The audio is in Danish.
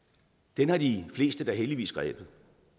den har de fleste da heldigvis grebet